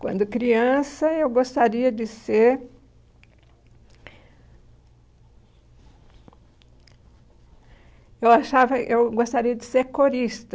Quando criança, eu gostaria de ser... Eu achava eu gostaria de ser corista.